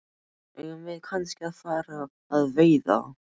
Eigum við kannski að fara að veiða?